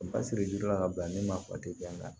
Basiri jiri la ka bila ni ma fatigiya